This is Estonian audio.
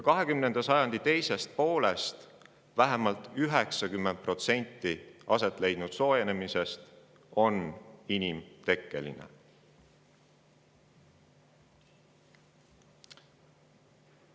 Vähemalt 90% 20. sajandi teises pooles aset leidnud soojenemisest on inimtekkeline.